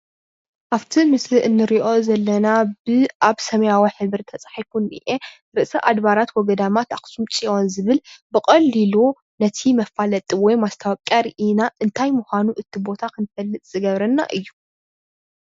አብቲ ምስሊ እነሪኦ ዘለና በ አብ ሰማያዊ ሕብሪ ተፃሒፉ ዝኒሄ ርእሰ አድባራተ ወገዳማት አከሱም ፅዮን ዝብል ብቀሊሉ ነቲ መፋለጢ ወይ ማስታወቂያ ርኢና እንታይ ምኳኑ እቲ ቦታ ክንፈልጥ ዝገበረና እዩ፡፡